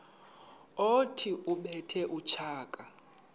othi ubethe utshaka